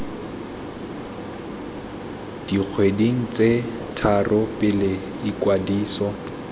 dikgweding tse tharo pele ikwadiso